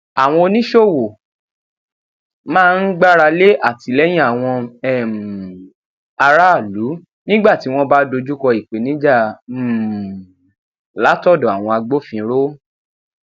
àwọn oníṣòwò máa ń gbáralé atìlẹyìn àwọn um aráàlú nígbà tí wọn bá dojúkọ ìpèníjà um látọdọ àwọn agbófinró